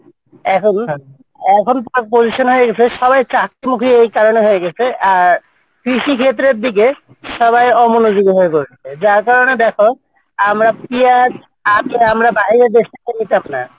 এখন এখন position হয়ে গেছে সবাই চাকরি মুখি এই কারনে হয়েগেছে আর কৃষি ক্ষেত্রের দিকে সবাই অমনোযোগী হয়ে পড়েছে সবাই তার কারনে দেখো আমরা কি আর আগে আমরা বাইরের দেশ থেকে নিতাম না